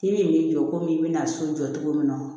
K'i bi n'i jɔ komi i be na so jɔ cogo min na